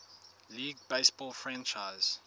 league baseball franchise